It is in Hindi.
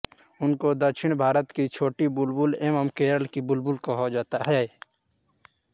उनको दक्षिण भारत की छोटी बुलबुल एवम केरल की बुलबुल कहा जाता है